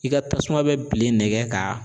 I ka tasuma bɛ bilen nɛgɛ ka